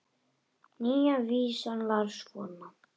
Nýja vísan var svona